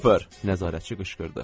Nəzarətçi qışqırdı.